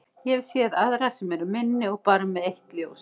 Ég hef séð aðra sem eru minni og bara með eitt ljós.